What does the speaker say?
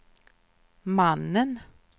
mannen